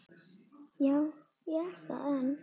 Já, ég er það enn.